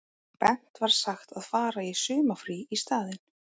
Bent var sagt að fara í sumarfrí í staðinn.